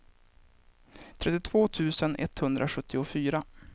trettiotvå tusen etthundrasjuttiofyra